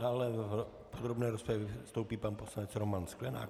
Dále v podrobné rozpravě vystoupí pan poslanec Roman Sklenák.